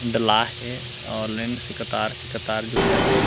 डलाये हे और लाइन से कतार के कतार जो है यहाँ पे--